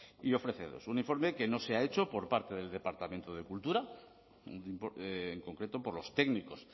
y ofrece dos un informe que no se ha hecho por parte del departamento de cultura en concreto por los técnicos